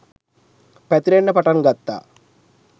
පැතිරෙන්න පටන් ගත්තා